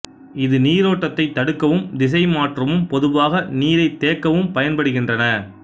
இது நீரோட்டத்தைத் தடுக்கவும் திசை மாற்றவும் பொதுவாக நீரைத் தேக்கவும் பயன்படுகின்றன